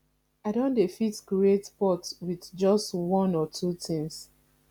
i don dey fit create pot with just one or two things